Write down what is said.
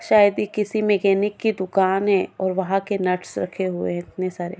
शायद ये किसी मैकेनिक की दुकान है और वहा के नट्स रखे हुए है इतने सारे।